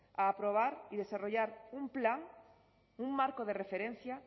a aprobar y desarrollar un plan un marco de referencia